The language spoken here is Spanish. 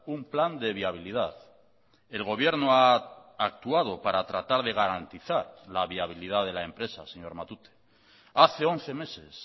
un plan de viabilidad el gobierno ha actuado para tratar de garantizar la viabilidad de la empresa señor matute hace once meses